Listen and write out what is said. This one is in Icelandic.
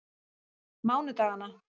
mánudaganna